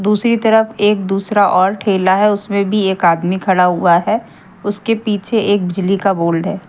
दूसरी तरफ एक दूसरा और ठेला है उसमें भी एक आदमी खड़ा हुआ है उसके पीछे एक बिजली का बोल्ड है।